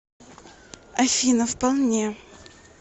афина вполне